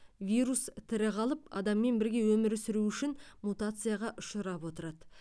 вирус тірі қалып адаммен бірге өмір сүру үшін мутацияға ұшырап отырады